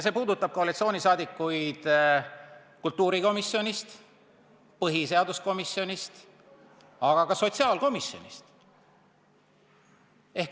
See puudutab koalitsiooniliikmeid kultuurikomisjonist ja põhiseaduskomisjonist, aga ka sotsiaalkomisjonist.